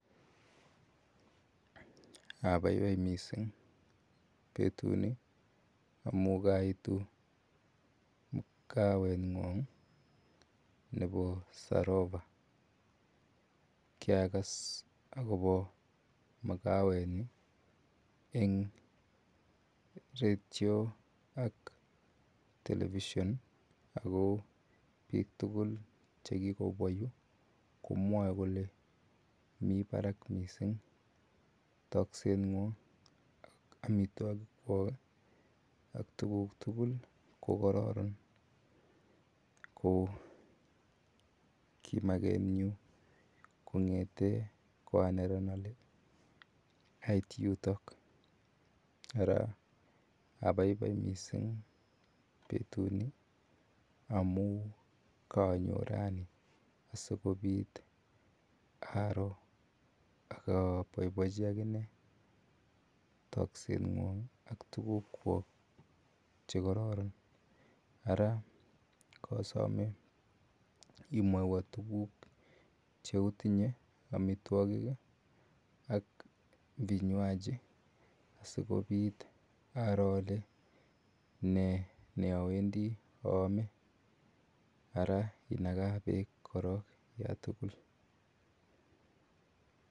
Abaibai missing betut ni amuun kaituu kaweek kwaany nebo sarobaa kiragas agobo makaweet kwaang eng radio ak [television] agobo biik tuguul che kigobwaa Yuu komwae kole Mii barak missing takset kwaang amitwagiik kwaak ak tuguuk ko kororon ko kimakeet nyuun kongethen ko a neranik ait yutoog ara abaibai missing betut ni amuun kanyoon raini asikobiit aroor ak abaibaiji agane takset kwaang ak tuguuk kwaak che kororon ara kasamee imwaawan tuguuk che otinyei amitwagiik ii ak vinywaji asikobiit aroor ale ale nee awendii aame ara inakaan beek korong yaan tuguul.